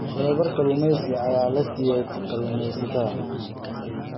Tababar kalluumaysi ayaa la siiyay kalluumaysatada.